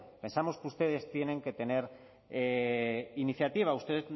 pensamos ustedes tienen que tener iniciativa usted